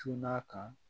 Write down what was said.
Cunna kan